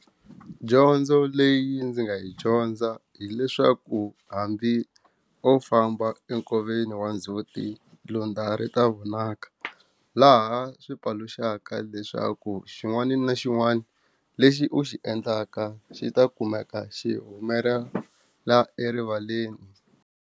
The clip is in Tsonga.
Dyondzo leyi ndzi nga yi dyondza hileswaku hambi o famba enkoveni wa ndzhuti lundza ri ta vonaka laha swi paluxaka leswaku xin'wana na xin'wana lexi u xi endlaka xi ta kumeka xihumelela erivaleni.